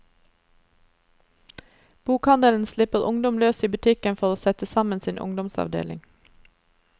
Bokhandelen slipper ungdom løs i butikken for å sette sammen sin ungdomsavdeling.